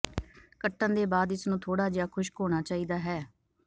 ਕੱਟਣ ਦੇ ਬਾਅਦ ਇਸ ਨੂੰ ਥੋੜਾ ਜਿਹਾ ਖੁਸ਼ਕ ਹੋਣਾ ਚਾਹੀਦਾ ਹੈ